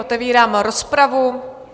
Otevírám rozpravu.